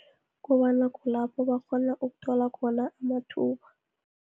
Kobana kulapho abakghona ukuthola khona amathuba.